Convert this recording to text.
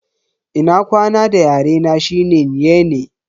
Ina kwana da yare na shine "Nyene".